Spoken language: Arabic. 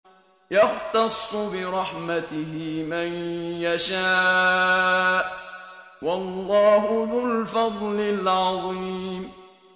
يَخْتَصُّ بِرَحْمَتِهِ مَن يَشَاءُ ۗ وَاللَّهُ ذُو الْفَضْلِ الْعَظِيمِ